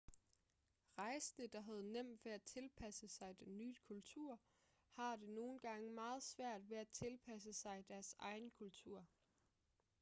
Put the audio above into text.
rejsende der havde nemt ved at tilpasse sig den nye kultur har det nogle gange meget svært ved at tilpasse sig deres egen kultur